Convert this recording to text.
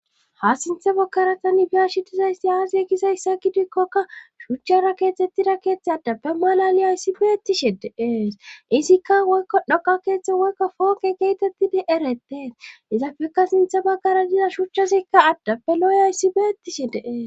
ha sintha bokkaratani biyashi dizaysti aasi e gizayssa gidikkokka shuchchara keetettida keeththe addappe malali ayssi beettishe deee izikka woykka dhoqa keeththo woykka fooqe geetettidi eretee izafekka sintha baggara diza shuchchazikka addappe looy ayssi beettishe deee